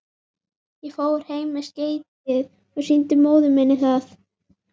Ég fór heim með skeytið og sýndi móður minni það.